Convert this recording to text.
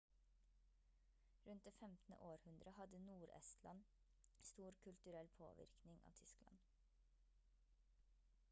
rundt det 15. århundre hadde nord-estland stor kulturell påvirkning av tyskland